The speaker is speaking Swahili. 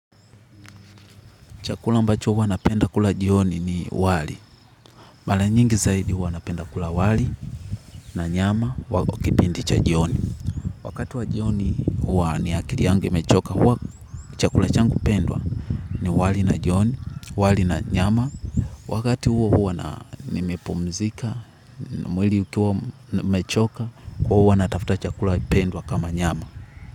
Chakula ambacho huwa napenda kula jioni ni wali. Mara nyingi zaidi huwa napenda kula wali na nyama wa kipindi cha jioni. Wakati wa jioni huwa ni akili yangu mechoka huwa chakula changu pendwa ni wali na jioni, wali na nyama. Wakati huo huwa nimepumzika, mwili ukiwa mechoka, huwa huwa natafuta chakula pendwa kama nyama.